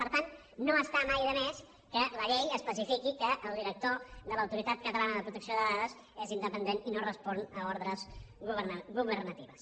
per tant no està mai de més que la llei especifiqui que el director de l’autoritat catalana de protecció de dades és independent i no respon a ordres governatives